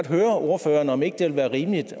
høre ordføreren om ikke det ville være rimeligt